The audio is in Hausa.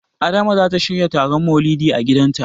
Adama zata shirya taron Maulidi a gidanta.